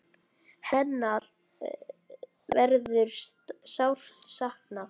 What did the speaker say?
Hennar verður sárt saknað.